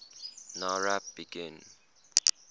nowrap begin